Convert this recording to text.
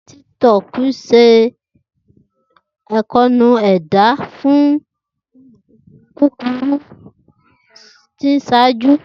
TikTok ṣe atuntu ẹda akoonu fọọmu kukuru ni iṣaaju.